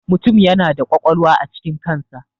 Mutum yana da ƙwaƙwalwa a cikin kan sa.